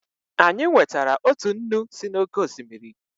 Anyị nwetara otu nnu si n'oké osimiri.